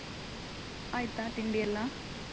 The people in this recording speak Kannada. ಆಯ್ತಾ ತಿಂಡಿಯೆಲ್ಲ?